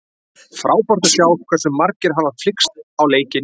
Frábært að sjá hversu margir hafa flykkst á leikinn.